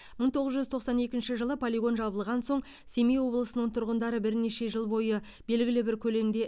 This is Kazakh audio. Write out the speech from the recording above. мың тоғыз жүз тоқсан екінші жылы полигон жабылған соң семей облысының тұрғындары бірнеше жыл бойы белгілі бір көлемде